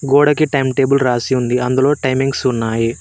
గోడకి time table రాసి ఉంది అందులో టైమింగ్స్ ఉన్నాయి.